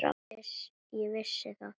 Ég vissi það.